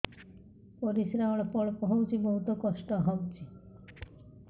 ପରିଶ୍ରା ଅଳ୍ପ ଅଳ୍ପ ହଉଚି ବହୁତ କଷ୍ଟ ହଉଚି